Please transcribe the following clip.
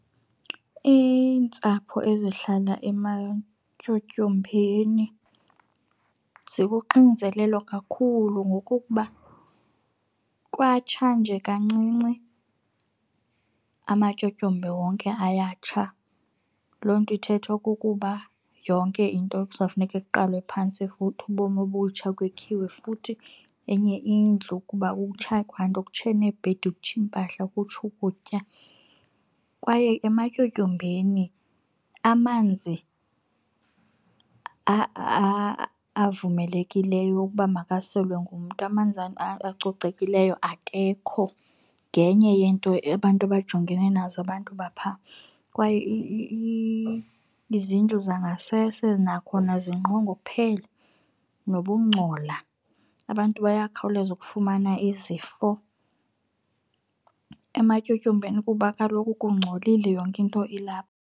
Iintsapho ezihlala ematyotyombeni zikuxinzelelo kakhulu ngokokuba kwatsha nje kancinci amatyotyombe wonke ayatsha. Loo nto ithetha okokuba yonke into kuzawufuneka kuqalwe phantsi futhi ubomi obutsha kwakhiwe futhi enye indlu kuba kutsha kwanto, kutshe neebhedi kutshe iimpahla kutshe ukutya. Kwaye ematyotyombeni amanzi avumelekileyo ukuba makaselwe ngumntu, amanzi acocekileyo akekho. Ngenye yento abantu abajongene nazo abantu bapha. Kwaye izindlu zangasese nakhona zingqongophele nokungcola abantu bayakhawuleza ukufumana izifo ematyotyombeni kuba kaloku kungcolile yonke into ilapha.